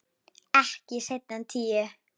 Ekki seinna en tíu.